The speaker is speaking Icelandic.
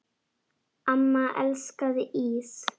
Amma elskaði ís.